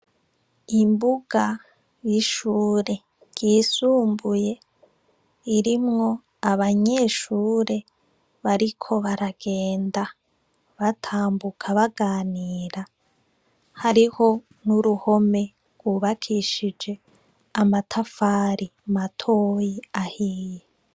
Ikigo c' ishure ry' isumbuye rifis' imbug' irimw' abanyeshure bambaye n' imyambaro y' ishuri ibaranga, bariko baragenda batambuka baganira, harih' uruhome rwubakishij' amatafari matoy'ahiye.